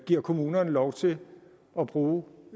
giver kommunerne lov til at bruge